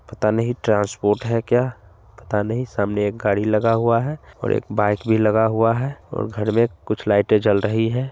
पता नहीं ट्रांसपोर्ट है क्या पता नहीं सामने एक गाड़ी लगा हुआ है और एक बाइक भी लगा हुआ है और घर मे कुछ लाइट ए जल रही है।